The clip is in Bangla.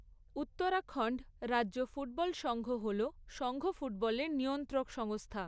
উত্তরাখণ্ড রাজ্য ফুটবল সঙ্ঘ হল সঙ্ঘ ফুটবলের নিয়ন্ত্রক সংস্থা।